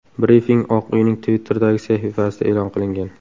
Brifing Oq uyning Twitter’dagi sahifasida e’lon qilingan .